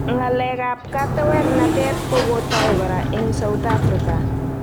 Ng'alek ap katewernatet kokotoi kora eng South Afrka